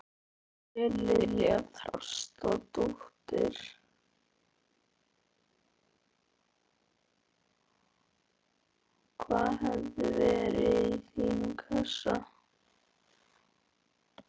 María Lilja Þrastardóttir: Hvað hefði verið í þínum kassa?